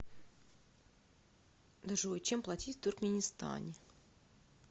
джой чем платить в туркменистане